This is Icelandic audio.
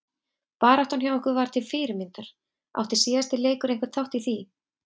Baráttan hjá ykkur var til fyrirmyndar, átti síðasti leikur einhvern þátt í því?